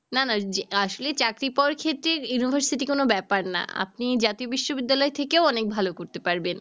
না না যে আসলে চাকরি পাওয়ার ক্ষেত্রে university কোন ব্যাপার না। আপনি জাতীয় বিশ্ববিদ্যালয় থেকেও অনেক ভালো করতে পারবেন।